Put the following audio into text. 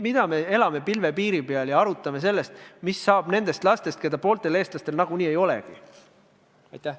Miks me elame pilvepiiri peal ja arutame, mis saab nendest lastest, keda pooltel eestlastel nagunii ei ole?